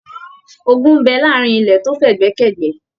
Ògún n bẹ láàrin ilẹ to f'ẹgbẹ k'ẹgbẹ.